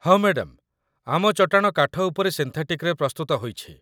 ହଁ ମ୍ୟାଡାମ୍, ଆମ ଚଟାଣ କାଠ ଉପରେ ସିନ୍ଥେଟିକ୍‌ରେ ପ୍ରସ୍ତୁତ ହୋଇଛି